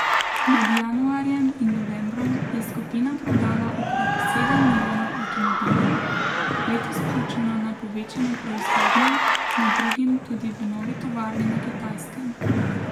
Med januarjem in novembrom je skupina prodala okrog sedem milijonov avtomobilov, letos pa računa na povečano proizvodnjo, med drugim tudi v novi tovarni na Kitajskem.